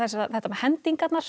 þetta með hendingarnar